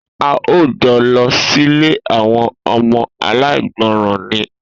A óò jo̩ lo̩ sílé àwo̩n o̩mo̩ aláìgbo̩ràn ni!